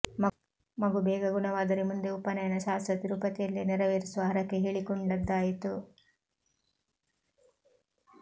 ಮಗು ಬೇಗ ಗುಣವಾದರೆ ಮುಂದೆ ಉಪನಯನ ಶಾಸ್ತ್ರ ತಿರುಪತಿಯಲ್ಲೇ ನೆರವೇರಿಸುವ ಹರಕೆ ಹೇಳಿಕೊಂಡದ್ದಾಯಿತು